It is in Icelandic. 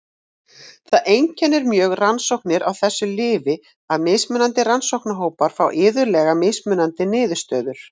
Það einkennir mjög rannsóknir á þessu lyfi að mismunandi rannsóknarhópar fá iðulega mismunandi niðurstöður.